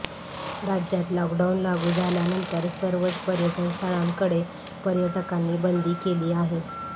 राज्यात लॉकडाउन लागू झाल्यानंतर सर्वच पर्यटनस्थळांकडे पर्यटकांना बंदी केली आहे